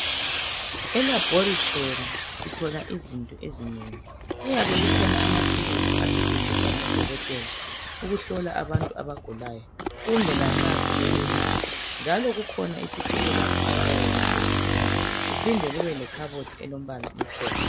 Elaboratory sithola izinto ezinengi .Kuyabe kukhona amathulusi asetshenziswa ngo Dokotela ukuhlola abantu abagulayo kumbe lanxa sebebelapha njalo kukhona isitulo lapho abayabe behlezi khona kuphinde kube lekhabothi elombala omhlophe.